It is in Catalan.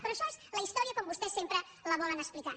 però això és la història com vostès sempre la volen explicar